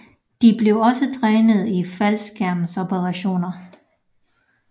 De blev også trænet i faldskærmsoperationer